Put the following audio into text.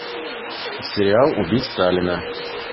сериал убить сталина